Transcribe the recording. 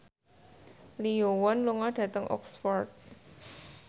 Lee Yo Won lunga dhateng Oxford